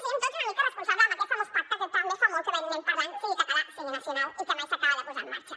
siguem tots una mica responsables en aquest famós pacte que també fa molt que n’anem parlant sigui català sigui nacional i que mai s’acaba de posar en marxa